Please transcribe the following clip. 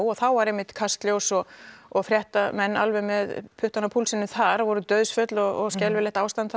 og þá var einmitt Kastljós og og fréttamenn alveg með puttann á púlsinum þar það voru dauðsföll og skelfilegt ástand